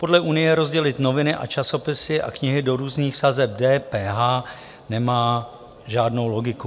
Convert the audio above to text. Podle Unie rozdělit noviny a časopisy a knihy do různých sazeb DPH nemá žádnou logiku.